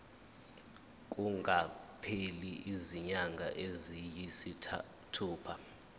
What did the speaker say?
kungakapheli izinyanga eziyisithupha